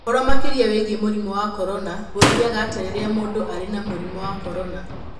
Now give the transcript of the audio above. Ũhoro makĩria wĩgiĩ mũrimũ wa corona: Gũthiaga atĩa rĩrĩa mũndũ arĩ na mũrimũ wa corona?